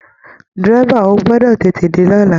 Dẹ́rẹ́bà, ó gbọdọ̀ tètè dé lọ́la!